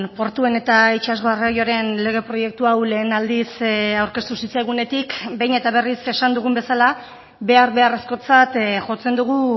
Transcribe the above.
portuen eta itsas garraioaren lege proiektu hau lehen aldiz aurkeztu zitzaigunetik behin eta berriz esan dugun bezala behar beharrezkotzat jotzen dugu